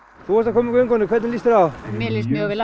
þú varst að koma úr göngunum hvernig líst þér á mér líst mjög vel